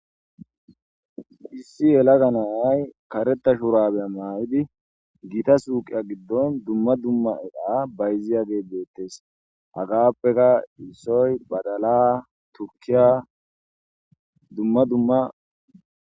Issi yelaga na"a karetta shurabiya mayada gita suqiya giddon dumma dumma de'iyage bettes hagape qasi issoy baddala,tukkiya dumma dumma